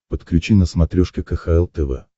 подключи на смотрешке кхл тв